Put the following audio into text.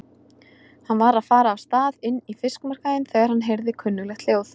Hann var að fara af stað inn í fiskmarkaðinn þegar hann heyrði kunnuglegt hljóð.